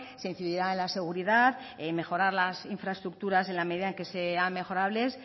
se incidirá en la seguridad en mejorar las infraestructuras en la medida en que sean mejorables